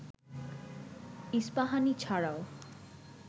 ইস্পাহানি ছাড়াও